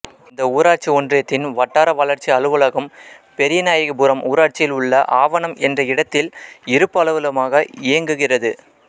இந்த ஊராட்சி ஒன்றியத்தின் வட்டார வளர்ச்சி அலுவலகம் பெரியநாயகிபுரம் ஊராட்சியில் உள்ள ஆவணம் என்ற இடத்தில் இருப்பு அலுவலமாக இயங்குகிறது